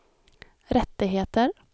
rättigheter